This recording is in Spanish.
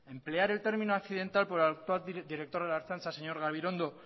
emplear el término accidental por el actual director de la ertzaintza señor gabilondo